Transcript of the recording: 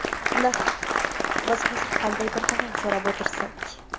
Nahot biz hozir qandaydir tovon so‘rab o‘tirsak?